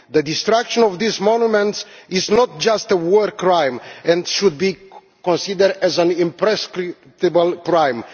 The destruction of these monuments is not just a war crime and should be considered as an imprescriptible crime.